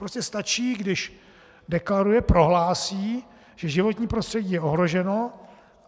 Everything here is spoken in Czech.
Pouze stačí, když deklaruje, prohlásí, že životní prostředí je ohroženo.